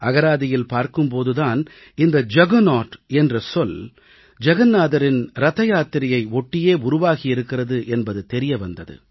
அகராதியில் பார்க்கும் போது தான் இந்த ஜகர்நவுட் என்ற சொல் ஜகன்நாதரின் ரதயாத்திரையை ஒட்டியே உருவாகியிருக்கிறது என்பது தெரிய வந்தது